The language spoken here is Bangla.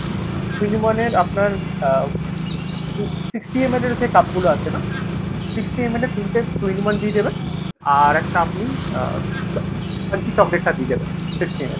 two in one এর আপনার আহ sixty ML এর যে cup গুলো আছে না sixty ML এর তিনতে two in one দিয়ে দেবেন। আর একটা আপনি আহ চ~ crunchy chocolate টা দিয়ে দেবেন sixty ML এর ।